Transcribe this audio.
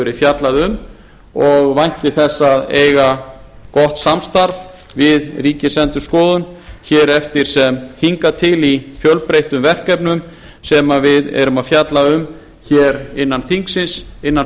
verið fjallað um og vænti þess að eiga gott samstarf við ríkisendurskoðun hér eftir sem hingað til í fjölbreyttum verkefnum sem við erum að fjalla um hér innan þingsins innan